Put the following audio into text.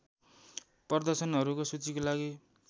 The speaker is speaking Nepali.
प्रदर्शनहरूको सूचीको लागि